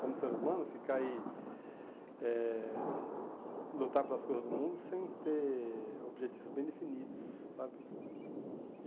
como ser humano, ficar e eh lutar pelas coisas do mundo sem ter objetivos bem definidos, sabe?